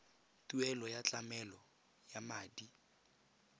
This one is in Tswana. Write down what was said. tuelo ya tlamelo ya madi